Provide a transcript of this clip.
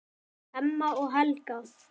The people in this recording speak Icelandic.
Hemma og Helga.